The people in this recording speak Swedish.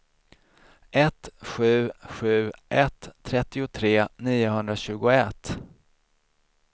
ett sju sju ett trettiotre niohundratjugoett